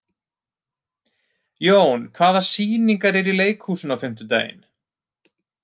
Jón, hvaða sýningar eru í leikhúsinu á fimmtudaginn?